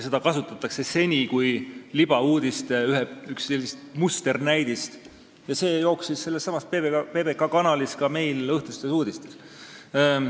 Seda kasutatakse seni kui üht libauudiste musternäidet ja see jooksis ka meil õhtustes uudistes sellessamas PBK-s.